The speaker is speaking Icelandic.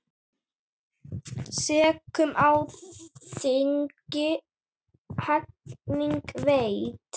Sekum á þingi hegning veitt.